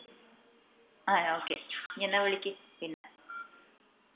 ആഹ് okay ഇഞ് എന്നാ വിളിക്ക് പിന്ന